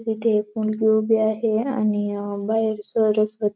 इथे एक मुलगी उभी आहे आणि अं बाहेर सरस्व --